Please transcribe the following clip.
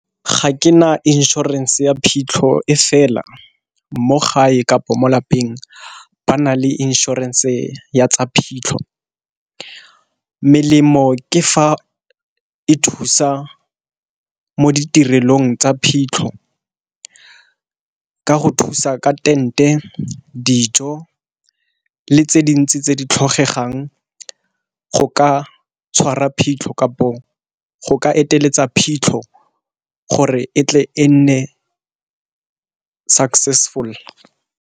Ga ke na inšorense ya phitlho e fela mo gae kapo mo lapeng ba na le inšorense ya tsa phitlho. Melemo ke fa e thusa mo ditirelong tsa phitlho ka go thusa ka tent-e, dijo, le tse dintsi tse di tlhokegang go ka tshwara phitlho kapo go ka eteletsa phitlho gore e tle e nne successful.